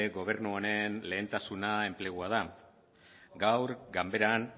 gobernu honen lehentasuna enplegua da gaur ganberan